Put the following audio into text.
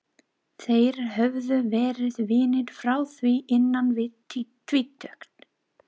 Þeir höfðu verið vinir frá því innan við tvítugt.